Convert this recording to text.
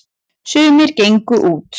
sumir gengu út